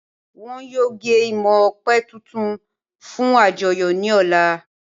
Wọn yóò gé imọ̀ ọ̀pẹ̀ tuntun fun àjọyọ̀ ni ọ̀la